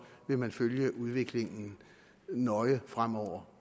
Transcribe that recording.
vil man følge udviklingen nøje fremover